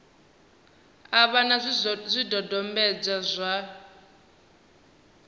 a vha na zwidodombedzwa zwa